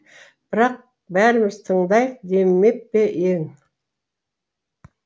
бірақ бәріміз тыңдайық демеп пе ең